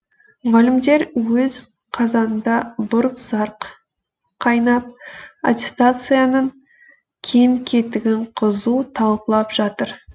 мұғалімдер өз қазанында бұрқ сарқ қайнап аттестацияның кем кетігін қызу талқылап жатыр